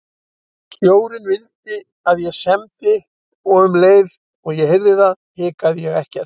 Stjórinn vildi að ég semdi og um leið og ég heyrði það hikaði ég ekkert.